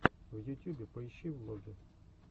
в ютюбе поищи влоги